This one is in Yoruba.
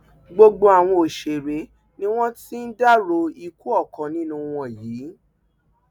gbogbo àwọn òṣèré ni wọn ti ń dárò ikú ọkàn nínú wọn yìí